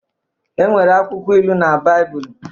E nwere akwụkwọ ilu na Baịbụl.